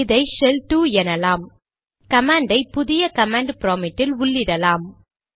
இதை ஷெல் 2 எனலாம் கமாண்ட் ஐ புதிய கமாண்ட் ப்ராம்ப்ட் இல் உள்ளிடலாம்